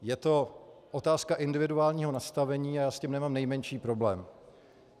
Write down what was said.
Je to otázka individuálního nastavení a já s tím nemám nejmenší problém.